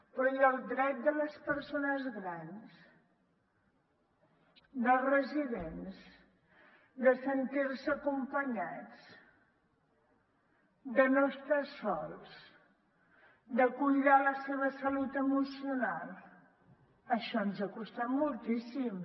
però i el dret de les persones grans dels residents de sentir se acompanyats de no estar sols de cuidar la seva salut emocional això ens ha costat moltíssim